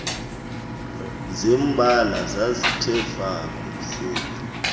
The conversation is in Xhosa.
zembala zazithe fuku